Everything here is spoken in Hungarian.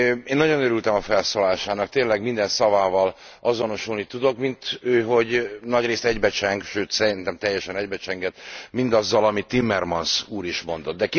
Én nagyon örültem a felszólalásának, tényleg minden szavával azonosulni tudok, minthogy nagyrészt egybecseng, sőt szerintem teljesen egybecsengett mindazzal, amit Timmermans úr is mondott.